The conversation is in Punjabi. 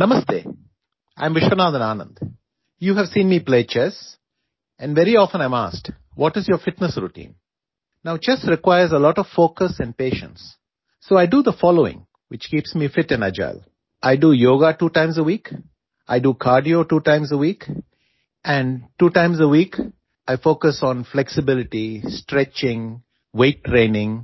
namaste I am Viswanathan Anand you have seen me play chess and very often I am asked what is your fitness routine now chess requires a lot of focus and patience so I do the following which keeps me fit and agile I do yoga two times a week I do cardio two times a week and two times a week I focus on flexibility stretching weight training